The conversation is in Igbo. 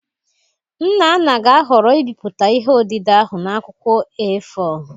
Nnanna ga-ahọrọ ibipụta ihe odide ahụ na akwụkwọ A4